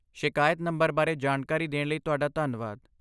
ਸ਼ਿਕਾਇਤ ਨੰਬਰ ਬਾਰੇ ਜਾਣਕਾਰੀ ਦੇਣ ਲਈ ਤੁਹਾਡਾ ਧੰਨਵਾਦ।